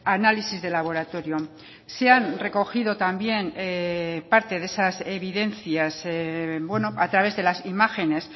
análisis de laboratorio se han recogido también parte de esas evidencias a través de las imágenes